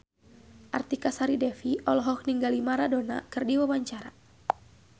Artika Sari Devi olohok ningali Maradona keur diwawancara